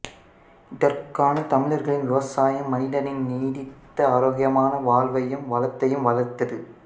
இதற்கான தமிழர்களின் விவசாயம் மனிதனின் நீடித்த ஆரோக்கியமான வாழ்வையும் வளத்தையும் வளர்த்தது